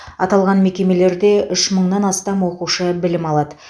аталған мекемелерде үш мыңнан астам оқушы білім алады